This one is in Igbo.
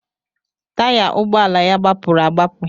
Taya ụgbọala ya gbapuru agbapụ